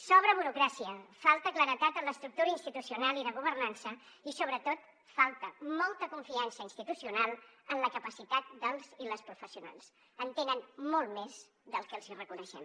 sobra burocràcia falta claredat en l’estructura institucional i de governança i sobretot falta molta confiança institucional en la capacitat dels i les professionals en tenen molta més de la que els hi reconeixem